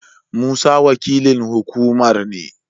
Musa wakilin hukumar ne.